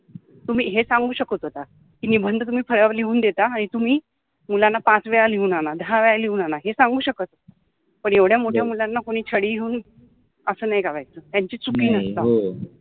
तुम्हि हे सांगु शकत होता कि निबंध तुम्हि फळ्यावर लिहुन देता आणी तुम्हि मुलाना पाच वेळा लिहुन आना दहा वेळा लिहुन आना हे सांगु शकत पन एवढ्या मोठ्या मुलाना कोणि छडि घेउन अस नाहि मारायच त्यांचि चुकि नसताना